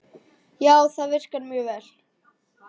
Já, það virkar mjög vel.